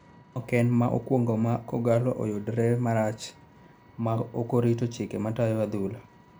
Maoken ma okuongoma Kogalo oyudore komarach ma okorito chike matayo adhula